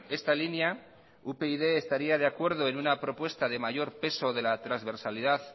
esta línea upyd estaría de acuerdo en una propuesta de mayor peso de la transversalidad